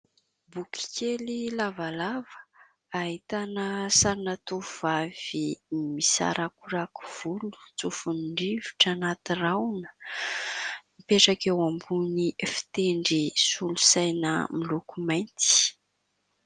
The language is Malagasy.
Boky kely lavalava, ahitana sarina tovovavy misarakorako volo tsofin'ny rivotra anaty rahoana, mipetraka eo ambony fitendry solosaina miloko mainty.